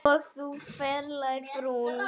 Og þú ferlega brún.